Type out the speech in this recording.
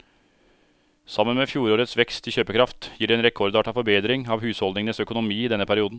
Sammen med fjorårets vekst i kjøpekraft gir det en rekordartet forbedring av husholdningenes økonomi i denne perioden.